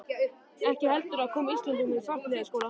ekki heldur að koma Íslendingum í svartliðaskóla.